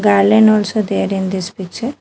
Also there in this picture.